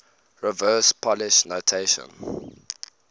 reverse polish notation